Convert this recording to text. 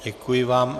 Děkuji vám.